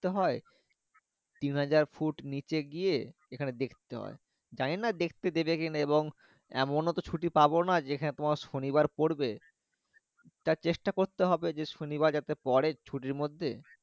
হয় তিনহাজার ফুট নিচে গিয়ে এখানে দেখতে হয় জানি টানা দেখতে দেবে কি এবং এমনতো ছুটি পাবনা যে খানে তোমার শনিবার পরবে টা চেষ্টা করতে হবে যে শনিবারযাতে পরে ছুটি মর্ধে।